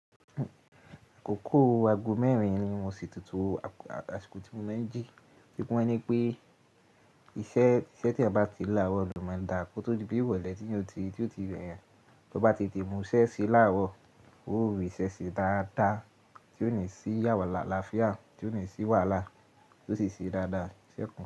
Àkókò aago mẹ́rin ni mo ṣètò to à asìkò tí mo máa ń jí. Tí wọ́n ní pé iṣẹ́ tí eyan bá ti lá àrọ̀ lo má n dà kó tó di bí irọlé tí eyan ó ti to ti reyan, tó bá ti tete mu ṣẹ́ ṣe láàrọ̀, ó rí iṣẹ́ ṣe dáadáa, tí ó ní sí yàwá àlàáfíà tí ó ní sì wàhálà tó sì ṣe dáadáa iṣẹ́ kan.